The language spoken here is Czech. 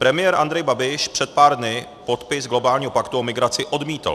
Premiér Andrej Babiš před pár dny podpis globálního paktu o migraci odmítl.